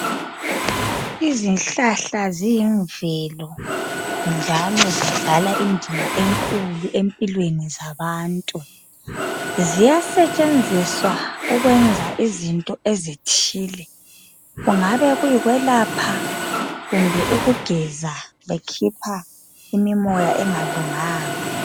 Izihlahla ziyimvelo njalo zidlala indima enkulu empilweni zabantu. Ziyasetshenziswa ukwenza izinto ezithile, kungabe kuyikwelapha kumbe ukugeza bekhipha imimoya engalunganga.